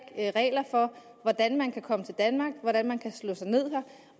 regler for hvordan man kan komme til danmark og hvordan man kan slå sig ned her